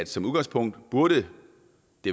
som udgangspunkt burde